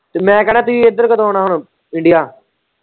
ਮੈਂ ਕਹਿਣਾ ਤੁਹੀਂ ਇੱਧਰ ਕਦੋੰ ਆਉਣਾ ਹੁਣ india